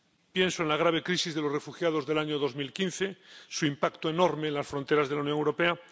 Pienso en la grave crisis de los refugiados del año 2015, en su impacto enorme en las fronteras de la Unión Europea.